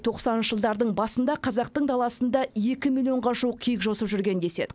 тоқсаныншы жылдардың басында қазақ даласында екі миллионға жуық киік жосып жүрген деседі